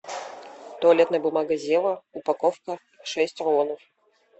туалетная бумага зева упаковка шесть рулонов